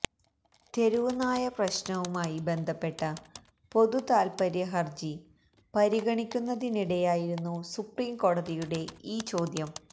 തെരുവ് നായ പ്രശ്നവുമായി ബന്ധപ്പെട്ട പൊതുതാത്പര്യ ഹർജികൾ പരിഗണിക്കുന്നതിനിടെയായിരുന്നു സുപ്രീംകോടതിയുടെ ഈ ചോദ്യം